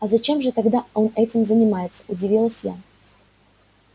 а зачем же тогда он этим занимается удивилась я